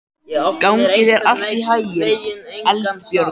Gangi þér allt í haginn, Eldbjörg.